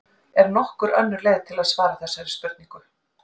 Er nokkur önnur leið til að svara þessari spurningu?